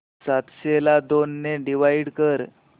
सातशे ला दोन ने डिवाइड कर